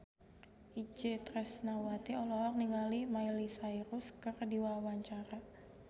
Itje Tresnawati olohok ningali Miley Cyrus keur diwawancara